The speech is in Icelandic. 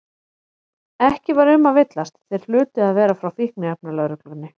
Ekki var um að villast, þeir hlutu að vera frá Fíkniefnalögreglunni.